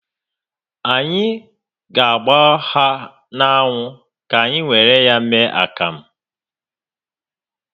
Any ga agba ha n'anwụ ka anyị were ya mee akamụ